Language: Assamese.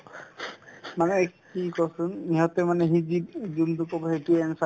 মানে কি কোৱাচোন ইহঁতে মানে সি যি~ যোনতো ক'ব সেইটোয়ে answer য়ে